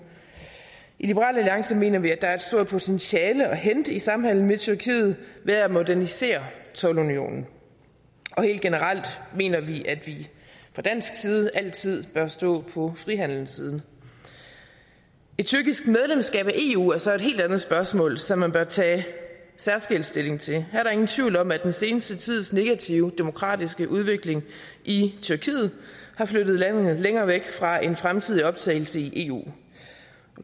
i liberal alliance mener vi at der er et stort potentiale at hente i samhandelen med tyrkiet ved at modernisere toldunionen helt generelt mener vi at vi fra dansk side altid bør stå på frihandelens side et tyrkisk medlemskab af eu er så et helt andet spørgsmål som man bør tage særskilt stilling til her er der ingen tvivl om at den seneste tids negative demokratiske udvikling i tyrkiet har flyttet landet længere væk fra en fremtidig optagelse i eu